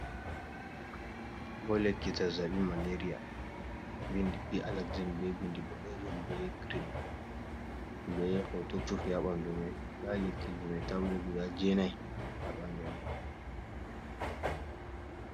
Ɓo lekki zazzabi malaria ɗo vindi bi alexamb be bindi ɓoɗejum be girin, be hoto vurti ha bandu mai, nda lekki ji mai tabulet guda jenai ha bandu mai.